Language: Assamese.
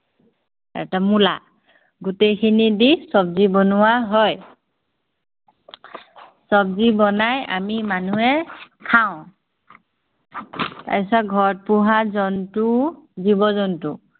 এৰ মূলা। গোটেইখিনি দি চবজি বনোৱা হয়। চবজি বনাই আমি মানুহে খাও। তাৰপিছত ঘৰত পোহা জন্তু, জীৱ জন্তু